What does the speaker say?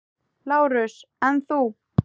LÁRUS: En þú?